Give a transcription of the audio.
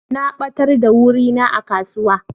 Na batar da wuri na a kasuwa.